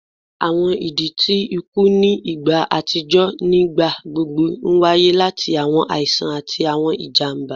Awọn idi ti iku ni igba atijọ nigbagbogbo nwaye lati awọn aisan ati awọn ijamba